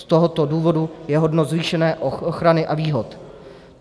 Z tohoto důvodu je hodno zvýšené ochrany a výhod.